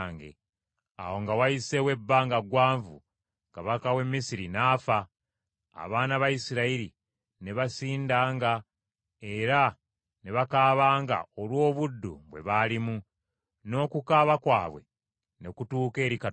Awo nga wayiseewo ebbanga ggwanvu, kabaka w’e Misiri n’afa. Abaana ba Isirayiri ne basindanga era ne bakaabanga olw’obuddu bwe baalimu, n’okukaaba kwabwe ne kutuuka eri Katonda.